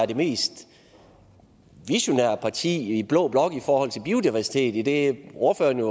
det mest visionære parti i blå blok i forhold til biodiversitet idet ordføreren